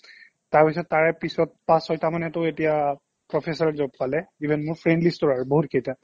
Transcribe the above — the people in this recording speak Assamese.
তাৰপিছ্ত তাৰে পিছ্ত পাচ ছয়্টা মানেটো এতিয়া professor ত job পালে even মোৰ friend list ও আৰু বহুকেইটা